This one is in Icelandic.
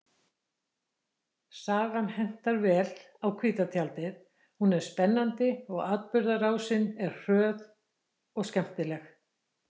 Sagan hentar vel á hvíta tjaldið, hún er spennandi og atburðarásin er hröð og skemmtileg.